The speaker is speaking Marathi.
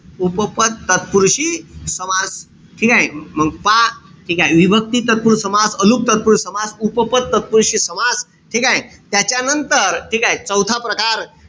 उपपद तत्पुरुषी समास. ठीकेय? मंग पहा. ठीकेय? विभक्ती तत्पुरुषी समास, अलूक तत्पुरुषी समास, उपपद तत्पुरुषी समास, ठीकेय? त्याच्यानंतर ठीकेय? चौथा प्रकार,